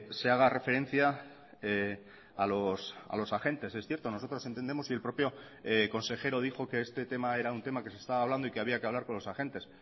se haga referencia a los agentes es cierto nosotros entendemos y el propio consejero dijo que este tema era un tema que se estaba hablando y que había que hablar con los agentes